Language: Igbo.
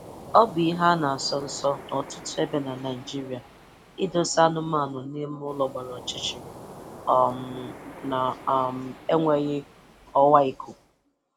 Ọ bụ ihe a na-asọ nsọ n'ọtụtụ ebe na Naịjirịa idosa anụmanụ n'ime ụlọ gbara ọchịchịrị um na um enweghị ọwa ikuku